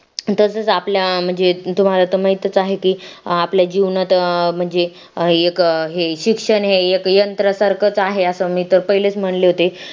तसंच आपल्या अं म्हणजे तुम्हाला तर माहीतच आहे की आपल्या जीवनात अं म्हणजे एक हे शिक्षण हे एक यंत्रा सारखं च आहे असं मी तर पहिलेच म्हणले होते तुम्हाला